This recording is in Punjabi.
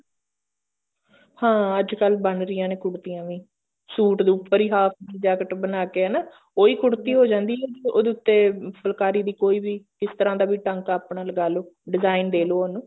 ਹਾਂ ਅੱਜਕਲ ਬਣ ਰਹਿਆ ਨੇ ਕੁੜਤੀਆਂ ਵੀ suit ਦੇ ਉੱਪਰ ਹੀ half jacket ਬਣਾ ਕੇ ਹਨਾ ਉਹੀ ਕੁੜਤੀ ਹੋ ਜਾਂਦੀ ਉਹਦੇ ਉੱਤੇ ਫੁਲਕਾਰੀ ਦੀ ਕੋਈ ਵੀ ਕਿਸ ਤਰ੍ਹਾਂ ਦਾ ਵੀ ਟਾਂਕਾ ਆਪਣਾ ਲਗਾ ਲੋ design ਦੇ ਲੋ ਉਹਨੂੰ